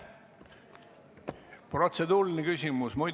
Protseduuriline küsimus?